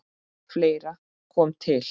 Fleira kom til.